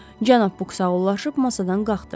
Cənab Bu sağıllanıb masadan qalxdı.